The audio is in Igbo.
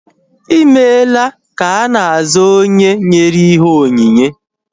Ịmela ka ana aza onye nyere ihe onyinye